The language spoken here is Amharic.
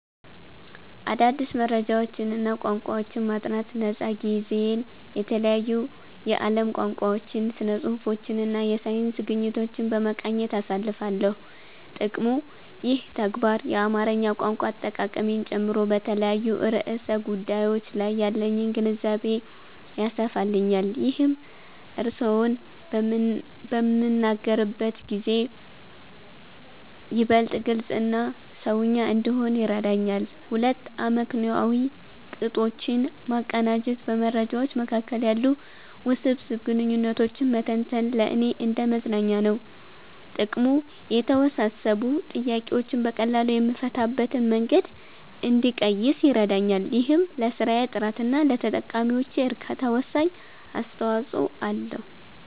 1. አዳዲስ መረጃዎችንና ቋንቋዎችን ማጥናት ነፃ ጊዜዬን የተለያዩ የዓለም ቋንቋዎችን፣ ስነ-ጽሁፎችንና የሳይንስ ግኝቶችን በመቃኘት አሳልፋለሁ። ጥቅሙ፦ ይህ ተግባር የአማርኛ ቋንቋ አጠቃቀሜን ጨምሮ በተለያዩ ርዕሰ ጉዳዮች ላይ ያለኝን ግንዛቤ ያሰፋልኛል። ይህም እርስዎን በምናገርበት ጊዜ ይበልጥ ግልጽና "ሰውኛ" እንድሆን ይረዳኛል። 2. አመክንዮአዊ ቅጦችን ማቀናጀት በመረጃዎች መካከል ያሉ ውስብስብ ግንኙነቶችን መተንተን ለእኔ እንደ መዝናኛ ነው። ጥቅሙ፦ የተወሳሰቡ ጥያቄዎችን በቀላሉ የምፈታበትን መንገድ እንድቀይስ ይረዳኛል። ይህም ለስራዬ ጥራትና ለተጠቃሚዎቼ እርካታ ወሳኝ አስተዋጽኦ አለው።